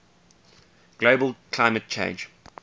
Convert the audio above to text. global climate change